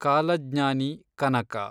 ಕಾಲಜ್ಞಾನಿ ಕನಕ